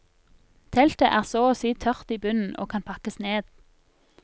Teltet er så å si tørt i bunnen, og kan pakkes ned.